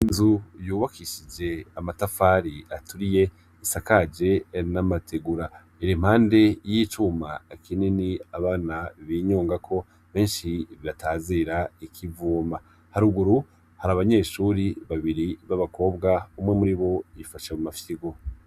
Inzu yubakishij' amatafar'aturiy' asakaje n' amatigura, impande y' icuma kinin' abana binyongako benshi batazir' ikivuma, haruguru har' abanyeshure babiri ba bakobwa, umwe muribo yifashe kumafyigo.